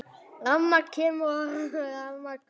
Rafmagn kemur og rafmagn fer.